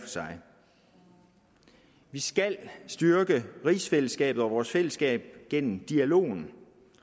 sig vi skal styrke rigsfællesskabet og vores fællesskab gennem dialogen